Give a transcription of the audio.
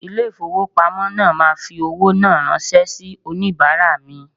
Ilé ìfowópamọ́ náà máa fowó náà ránṣẹ́ sì onìbàárà mi.